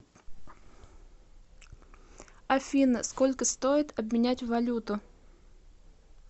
афина сколько стоит обменять валюту